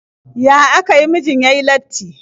Ya aka yi mijin ya yi latti?